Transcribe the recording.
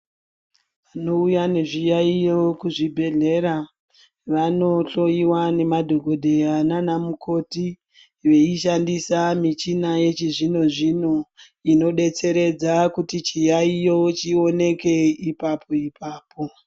Vanouya nezviyayiyo kuzvibhedhlera vanohloyiwa nemadhokodheya nanamukoti veishandisa michina yechizvino zvino inodetseredza kuti chiyayiyo chioneke ipapo ipapo.